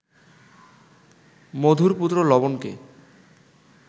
মধুর পুত্র লবণকে